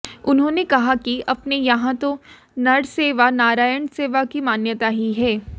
उन्होंने कहा कि अपने यहां तो नर सेवा नारायाण सेवा की मान्यता ही है